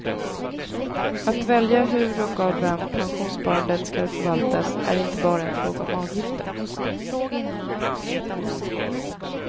Att välja hur och av vem pensionssparandet skall förvaltas är inte bara en fråga om avgifter.